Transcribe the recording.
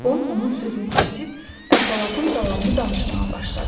Bu onun sözünü kəsib, əhvalatın davamını danışmağa başladı.